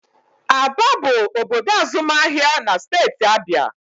Aba bụ obodo azụmahịa na steeti Abịa